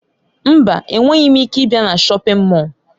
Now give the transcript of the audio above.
Mba, enweghị m ike ịbịa na shọpin Mọll.